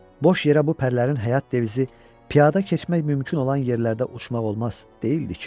Boş yerə bu pərilərin həyat devizi piyada keçmək mümkün olan yerlərdə uçmaq olmaz deyildi ki.